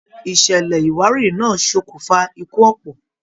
Ìṣẹlẹ iwarìri náa sokun fà ikú ọpọ.